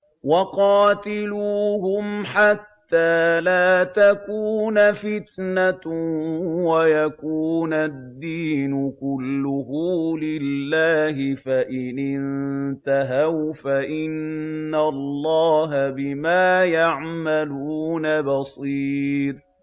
وَقَاتِلُوهُمْ حَتَّىٰ لَا تَكُونَ فِتْنَةٌ وَيَكُونَ الدِّينُ كُلُّهُ لِلَّهِ ۚ فَإِنِ انتَهَوْا فَإِنَّ اللَّهَ بِمَا يَعْمَلُونَ بَصِيرٌ